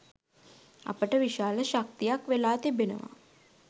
අපට විශාල ශක්තියක් වෙලා තිබෙනවා.